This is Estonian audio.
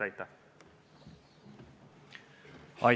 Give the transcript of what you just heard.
Aitäh!